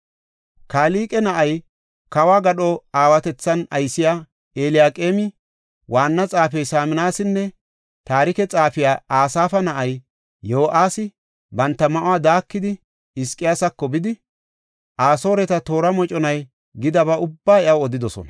Kalqe na7ay kawo gadho aawatethan aysiya Eliyaqeemi, waanna xaafey Saminasinne taarike xaafey Asaafa na7ay Yo7aasi banta ma7uwa daakidi, Hizqiyaasako bidi, Asooreta toora moconay gidaba ubbaa iyaw odidosona.